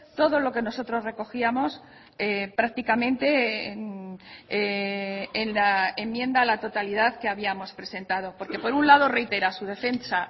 todo lo que nosotros recogíamos prácticamente en la enmienda a la totalidad que habíamos presentado porque por un lado reitera su defensa